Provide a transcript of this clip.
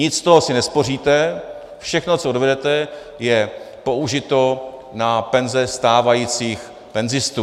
Nic z toho si nespoříte, všechno, co odvedete, je použito na penze stávajících penzistů.